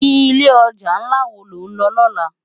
Ilé òjá nlá wó ló nlò lòlá?